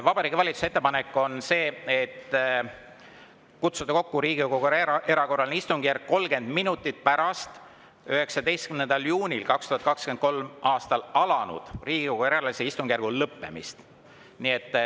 Vabariigi Valitsuse ettepanek on kutsuda kokku Riigikogu erakorraline istungjärk 30 minutit pärast 19. juunil 2023. aastal alanud Riigikogu erakorralise istungjärgu lõppemist.